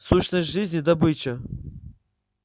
сущность жизни добыча